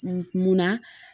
Munna